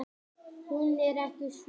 Hún er ekki sönnun.